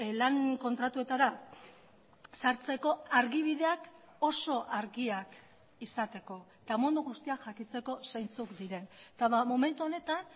lan kontratuetara sartzeko argibideak oso argiak izateko eta mundu guztiak jakiteko zeintzuk diren eta momentu honetan